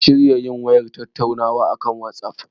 Mun shirya yin wayar tattaunawa a akan watsaf.